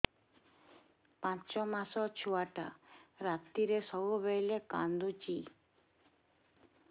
ପାଞ୍ଚ ମାସ ଛୁଆଟା ରାତିରେ ସବୁବେଳେ କାନ୍ଦୁଚି